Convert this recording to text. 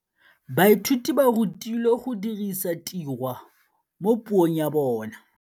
Baithuti ba rutilwe go dirisa tirwa mo puong ya bone.